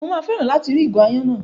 Mà á fẹ́ràn láti rí ìgò aáyán náà.